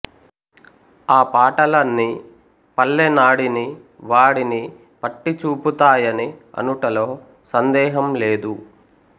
ఆ పాటలన్నీ పల్లె నాడిని వాడిని పట్టి చూపుతాయని అనుటలో సందేహం లేదు